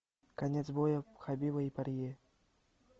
конец боя хабиба и парье